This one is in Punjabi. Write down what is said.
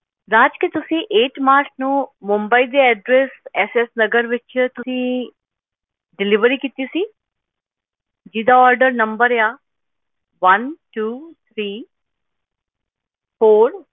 ਰਾਜ ਕੀ ਤੁਸੀਂ eight ਮਾਰਚ ਨੂੰ ਮੁੰਬਈ ਦੇ address ਐਸ ਐਸ ਨਗਰ ਵਿਚ ਤੁਸੀ delivery ਕੀਤੀ ਸੀ ਜਿਹਦਾ order number ਆ one two three four